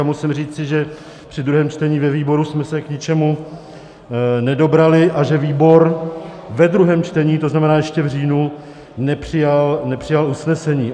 A musím říci, že při druhém čtení ve výboru jsme se k ničemu nedobrali a že výbor ve druhém čtení, to znamená ještě v říjnu, nepřijal usnesení.